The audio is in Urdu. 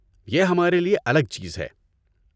یہ ہمارے لیے الگ چیز ہے!